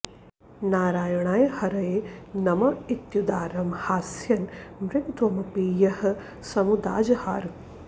नारायणाय हरये नम इत्युदारं हास्यन् मृगत्वमपि यः समुदाजहार